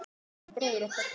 Jón bróðir okkar.